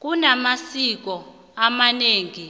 kunamasiko amanengi